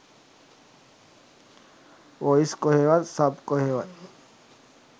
Voice කොහේවත් sub කොහේවත්.